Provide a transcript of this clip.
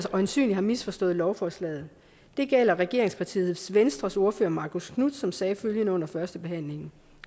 øjensynligt har misforstået lovforslaget det gælder regeringspartiet venstres ordfører marcus knuth som sagde følgende under førstebehandlingen